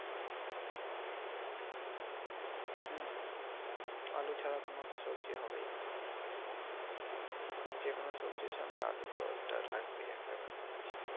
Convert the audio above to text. হম হম আলু ছাড়া কোন সবজি হবেই নাহ যেকোন সবজির সঙ্গে আলুতো একটা লাগবেই একটা ব্যাপার আছে ।